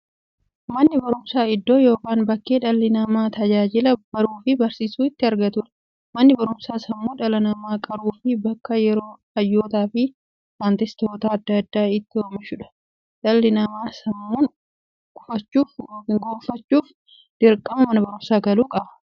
Manni baruumsaa iddoo yookiin bakkee dhalli namaa tajaajila baruufi barsiisuu itti argatuudha. Manni baruumsaa sammuu dhala namaa qaruufi bakka hayyootafi saayintistoota adda addaa itti oomishuudha. Dhalli namaa sammuun gufachuuf, dirqama Mana baruumsaa galuu qaba.